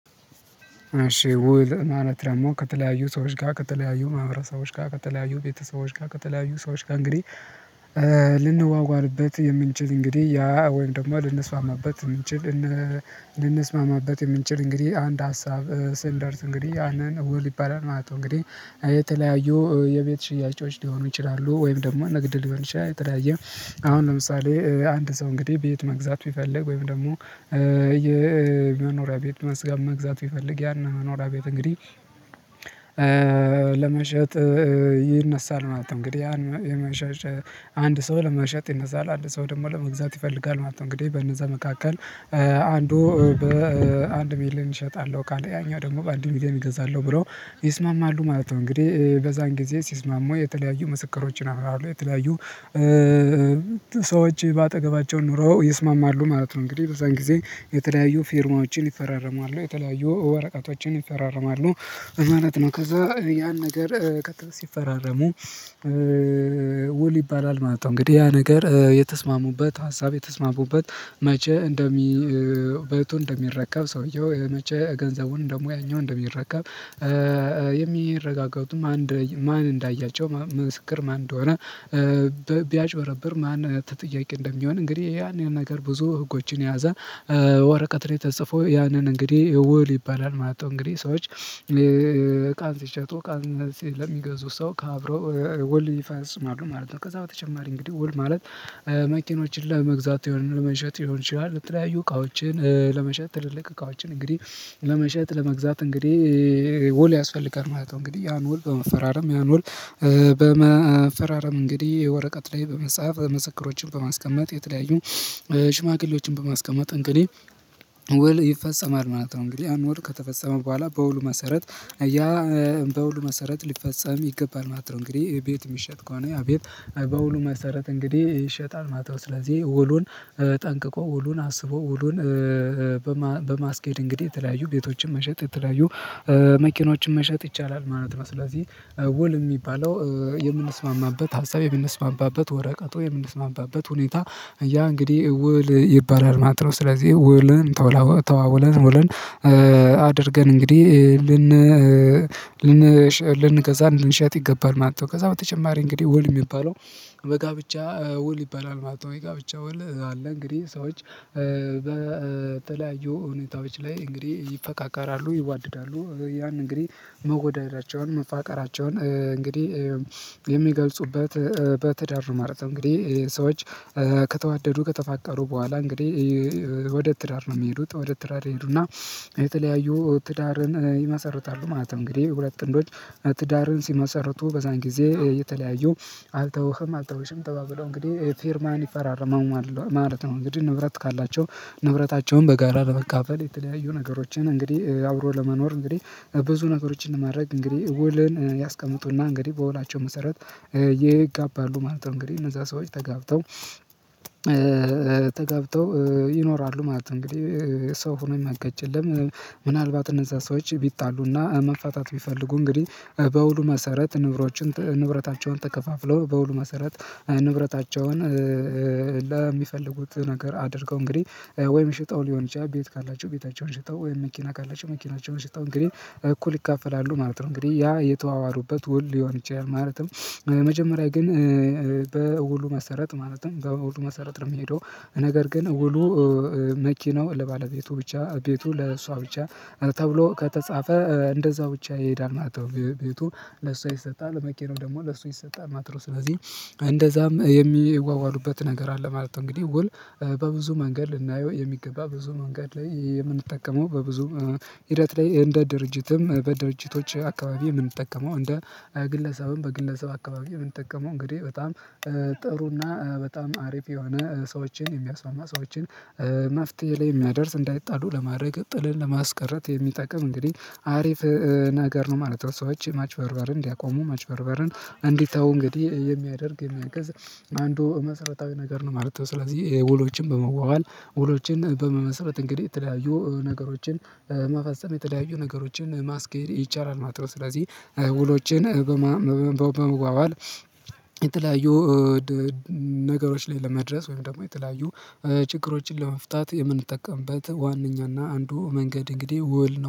እሺ ውል ማለት ደሞ ከተለያዩ ሰዎች ጋር ከተለያዩ ማህበረሰቦች ጋር ከተለያዩ ቤተሰቦች ጋር ከተለያዩ ሰዎች ጋር እንግዲህ ልንዋዋልበት የምንችል እንግዲህ ያ ወይም ደግሞ ልንስማማበት እንችል ልንስማማበት የምንችል እንግዲህ አንድ ሀሳብ ስንደርስ እንግዲህ አንዳንድ እውር ይባላል ማለት ነው እንግዲህ የተለያዩ የቤት ሽያጮች ሊሆኑ ይችላሉ ወይም ደግሞ ንግድ ሊባል ይችላል። የተለያየ አሁን ለምሳሌ አንድ ሰው እንግዲህ ቤት መግዛት ቢፈልግ ወይም ደግሞ የመኖሪያ ቤት መስጋት መግዛት ቢፈልግ ያን መኖሪያ ቤት እንግዲህ ለመሸጥ ይነሳል ማለት ነው። እንግዲህ የመሸጥ አንድ ሰው ለመሸጥ ይነሳል ለአንድ ሰው ደግሞ ለመግዛት ይፈልጋል ማለት ነው። እንግዲህ በነዛ መካከል አንዱ በአንድ ሚሊየን እሸጣለሁ ካለ ያኛው ደግሞ በአንድ ሚሊየን እገዛለሁ ብለው ይስማማሉ ማለት ነው። እንግዲህ በዛን ጊዜ ሲስማሙ የተለያዩ ምስክሮችን አብረው አሉ የተለያዩ ሰዎች በአጠገባቸው ኑረው ይስማማሉ ማለት ነው። እንግዲህ በዛን ጊዜ የተለያዩ ፊርማዎችን ይፈራረማሉ የተለያዩ ወረቀቶችን ይፈራረማሉ ማለት ነው። ከዛ ያን ነገር ሲፈራረሙ ውል ይባላል ማለት ነው። እንግዲህ ያ ነገር የተስማሙበት ሀሳብ የተስማሙበት መቼ እንደሚ ቤቱን እንደሚረከብ ሰውየው መቼ ገንዘቡን ደግሞ ያኛው እንደሚረከብ የሚረጋገጡ ማን ማን እንዳያቸው መስክር ማን እንደሆነ ቢያጭበረብር ማን ተጠያቂ እንደሚሆን እንግዲህ ያንን ነገር ብዙ ህጎችን የያዘ ወረቀትን ተጽፎ ያንን እንግዲህ ውል ይባላል ማለት ነው። እንግዲህ ሰዎች እቃን ሲሸጡ እቃም ለሚገዙ ሰው ካብረው ውል ይፈጽማሉ ማለት ነው። ከዛ በተጨማሪ እንግዲህ ውል ማለት መኪኖችን ለመግዛት የሆነ ለመሸጥ ይሆን ይችላል የተለያዩ እቃዎችን ለመሸጥ ትልልቅ እቃዎችን እንግዲህ ለመሸጥ ለመግዛት እንግዲህ ውል ያስፈልጋል ማለት ነው። እንግዲህ ያን ውል በመፈራረም ያን ውል በመፈራረም እንግዲህ ወረቀት ላይ በመጻፍ ምስከሮችን በማስቀመጥ የተለያዩ ሽማግሌዎችን በማስቀመጥ እንግዲህ ውል ይፈጸማል ማለት ነው። እንግዲ ያን ውል ከተፈጸመ በኋላ በውሉ መሰረት ያ በውሉ መሰረት ሊፈጸም ይገባል ማለት ነው። እንግዲህ ቤት የሚሸጥ ከሆነ ቤት በሁሉም አሰራር እንግዲህ ይሸጣል ማታው ስለዚህ ውሉን ጠንቅቆ ውሉን አስቦ ውሉን በማስኬድ እንግዲህ የተለያዩ ቤቶችን መሸጥ የተለያዩ መኪኖችን መሸጥ ይቻላል ማለት ነው። ስለዚህ ውል የሚባለው የምንስማማበት ሀሳብ የምንስማማበት ወረቀት የምንስማማበት ሁኔታ ያ እንግዲህ ውል ይባላል ማለት ነው። ስለዚህ ውልን ተዋውለን ተዋውለን ውልን አድርገን እንግዲህ ልን ልን ልንገዛ ልንሸጥ ይገባል ማለት ነው። ከዛ በተጨማሪ እንግዲህ ውል የሚባለው በጋብቻ ውል ይባላል ማለት ነው። የጋብቻ ውል አለ እንግዲህ ሰዎች በተለያዩ እውነታዎች ላይ እንግዲህ ይፈቃቃራሉ ይዋደዳሉ ያን እንግዲህ መዋደዳቸውን መፋቀራቸውን እንግዲህ የሚገልጹበት በትዳር ማለት ነው። እንግዲህ ሰዎች ከተዋደዱ ከተፋቀሩ በኋላ እንግዲህ ትዳር ነው የሚሄዱት ወደ ትዳር ይሄዱና የተለያዩ ትዳርን ይመሰርታሉ ማለት ነው። እንግዲህ ሁለት ጥንዶች ትዳርን ሲመሰርቱ በዛን ጊዜ የተለያዩ አልተውህም አልተውሽም ተባብለው እንግዲህ ፊርማን ይፈራረማል ማለት ነው። እንግዲህ ንብረት ካላቸው ንብረታቸውን በጋራ ለመካፈል የተለያዩ ነገሮችን እንግዲህ አብሮ ለመኖር እንግዲህ ብዙ ነገሮችን ማድረግ እንግዲህ ውልን ያስቀምጡና እንግዲህ በውላቸው መሰረት ይጋባሉ ማለት ነው። እንግዲህ እነዛ ሰዎች ተጋብተው ተጋብተው ይኖራሉ ማለት ነው። እንግዲህ ሰው ሆኖ የማይጋጭ የለም። ምናልባት እነዛ ሰዎች ቢጣሉና መፋታት ቢፈልጉ እንግዲህ በውሉ መሰረት ንብረታቸውን ተከፋፍለው በውሉ መሰረት ንብረታቸውን ለሚፈልጉት ነገር አድርገው እንግዲህ ወይም ሽጠው ሊሆን ይችላል ቤት ካላቸው ቤታቸውን ሽጠው ወይም መኪና ካላቸው መኪናቸውን ሽጠው እንግዲህ እኩል ይካፈላሉ ማለት ነው። እንግዲህ ያ የተዋዋሉበት ውል ይሆን ይችላል ማለትም መጀመሪያ ግን በውሉ መሰረት ማለትም በውሉ መሰረት ነው የሚሄደው ነገር ግን ውሉ መኪናው ለባለቤቱ ብቻ ቤቱ ለእሷ ብቻ ተብሎ ከተጻፈ እንደዛ ብቻ ይሄዳል ማለት ነው። ቤቱ ለሷ ይሰጣል መኪናው ደግሞ ለሱ ይሰጣል ማለት ነው። ስለዚህ እንደዛም የሚዋዋሉበት ነገር አለ ማለት ነው። እንግዲህ ውል በብዙ መንገድ ልናየው የሚገባ ብዙ መንገድ ላይ የምንጠቀመው በብዙ ሂደት ላይ እንደ ድርጅትም በድርጅቶች አካባቢ የምንጠቀመው እንደ ግለሰብም በግለሰብ አካባቢ የምንጠቀመው እንግዲህ በጣም ጥሩና በጣም አሪፍ የሆነ ሰዎችን የሚያስማማ ሰዎችን መፍትሄ ላይ የሚያደርስ እንዳይጣሉ ለማድረግ ጥልን ለማስቀረት የሚጠቅም እንግዲህ አሪፍ ነገር ነው ማለት ነው። ሰዎች ማጭበርበርን እንዲያቆሙ ማጭበርበርን እንዲተው እንግዲህ የሚያደርግ የሚያግዝ የሚያገዝ አንዱ መሰረታዊ ነገር ነው ማለት ነው። ስለዚህ ውሎችን በመዋዋል ውሎችን በመመስረት እንግዲህ የተለያዩ ነገሮችን መፈጸም የተለያዩ ነገሮችን ማስኬድ ይቻላል ማለት ነው። ስለዚህ ውሎችን በመዋዋል የተለያዩ ነገሮች ላይ ለመድረስ ወይም ደግሞ የተለያዩ ችግሮችን ለመፍታት የምንጠቀምበት ዋናኛና አንዱ መንገድ እንግዲህ ውል ነው